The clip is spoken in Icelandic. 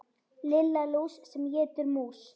Lilla lús sem étur mús.